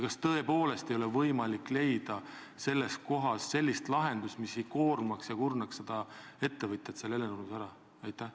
Kas tõepoolest ei ole võimalik leida sellist lahendust, mis ei koormaks ega kurnaks seda ettevõtjat seal Hellenurmes ära?